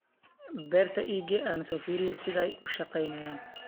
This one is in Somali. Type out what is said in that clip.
Beerta iigex aan soofiriye sidhay uushagenayan.